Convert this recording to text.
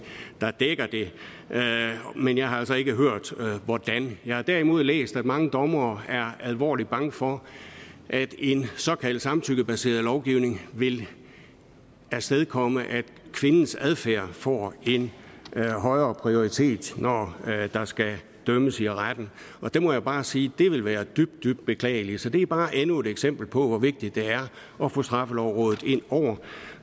der dækker det men jeg har altså ikke hørt hvordan jeg har derimod læst at mange dommere er alvorligt bange for at en såkaldt samtykkebaseret lovgivning vil afstedkomme at kvindens adfærd får en højere prioritet når der skal dømmes i retten og der må jeg bare sige at det ville være dybt dybt beklageligt så det er bare endnu et eksempel på hvor vigtigt det er at få straffelovrådet ind over